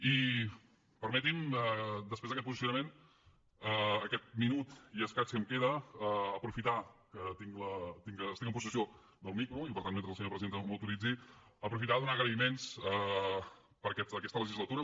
i permetin me després d’aquest posicionament aquest minut i escaig que em queda aprofitar que estic en possessió del micro i per tant mentre la senyora presidenta m’hi autoritzi per fer agraïments per aquesta legislatura